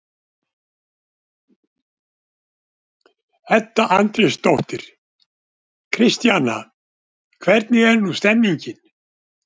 Edda Andrésdóttir: Kristjana, hvernig er nú stemningin?